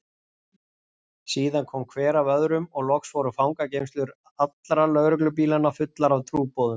Síðan kom hver af öðrum og loks voru fangageymslur allra lögreglubílanna fullar af trúboðum.